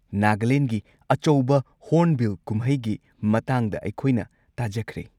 ꯅꯥꯒꯥꯂꯦꯟꯒꯤ ꯑꯆꯧꯕ ꯍꯣꯔꯟꯕꯤꯜ ꯀꯨꯝꯍꯩꯒꯤ ꯃꯇꯥꯡꯗ ꯑꯩꯈꯣꯏꯅ ꯇꯥꯖꯈ꯭ꯔꯦ꯫